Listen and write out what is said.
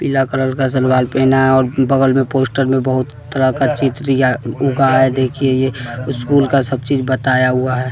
पीला कलर का सलवार पहना है और बगल में पोस्टर में बहुत तरह का चित्र या उगाया है देखिए ये स्कूल का सबचीज बताया हुआ है।